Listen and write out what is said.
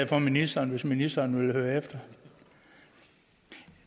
for ministeren hvis ministeren vil høre efter